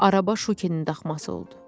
Araba Şukinin daxması oldu.